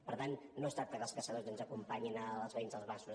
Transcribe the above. per tant no es tracta que els caçadors ens acompanyin els veïns dels masos